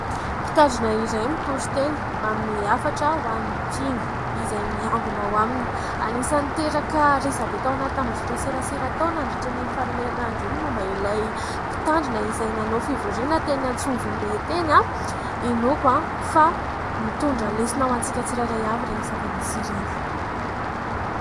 Mpitandrina iray mitory teny manome hafatra ho an'ny mpino izay miangona ao aminy. Anisan'ny niteraka resabe tao anaty tambazotran-tserasera tao nandritran'iny faran'ny herinandro iny n'y momba ilay mpitandrina izay nanao fivoriana teny Antsonjombe teny. Inoako fa mitondra lesona ho antsika tsirairay avy ireny zava-misy ireny.